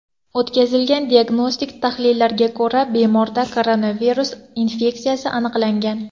O‘tkazilgan diagnostik tahlillardan so‘ng bemorda koronavirus infeksiyasi aniqlangan.